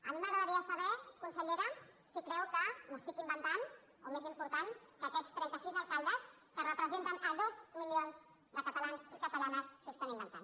a mi m’agradaria saber consellera si creu que m’ho estic inventant o més important que aquests trentasis alcaldes que representen dos milions de catalans i catalanes s’ho estan inventant